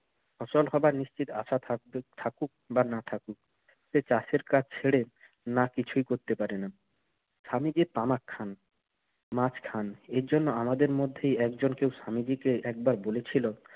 ফসল হবার নিশ্চিত আশা থাকুক~ থাকুক বা না থাকুক সে চাষের কাজ ছেড়ে না কিছুই করতে পারে না। স্বামীজি তামাক খান, মাছ খান। এর জন্য আমাদের মধ্যেই একজন কেউ স্বামীজিকে একবার বলেছিল,